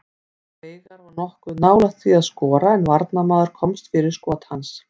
Veigar var nokkuð nálægt því að skora en varnarmaður komst fyrir skot hans.